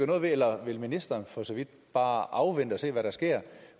noget ved eller vil ministeren for så vidt bare afvente og se hvad der sker